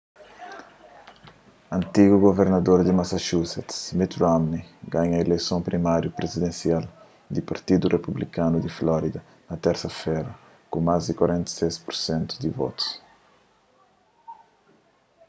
antigu guvernador di massachusetts mitt romney ganha ileison primáriu prizidensial di partidu republikanu di florida na térsa-fera ku más di 46 pur sentu di votus